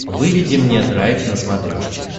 выведи мне драйв на смотрешке